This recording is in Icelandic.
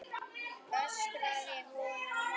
öskraði hún á móti.